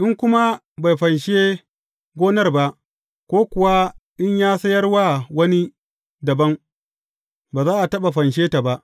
In kuma bai fanshe gonar ba, ko kuwa in ya sayar wa wani dabam, ba za a taɓa fanshe ta ba.